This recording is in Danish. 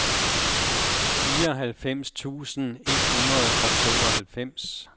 fireoghalvfems tusind et hundrede og tooghalvfems